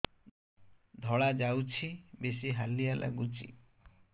ଧଳା ଯାଉଛି ବେଶି ହାଲିଆ ଲାଗୁଚି